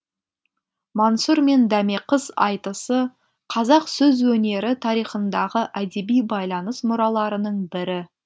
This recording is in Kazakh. мансұр мен дәмеқыз айтысы қазақ сөз өнері тарихындағы әдеби байланыс мұраларының бірі